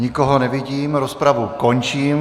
Nikoho nevidím, rozpravu končím.